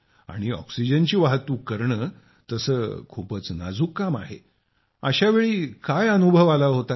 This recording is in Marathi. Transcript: आणि ऑक्सिजनची वाहतूक करणं तसं खूपच नाजूक काम आहे अशावेळी काय अनुभव आला होता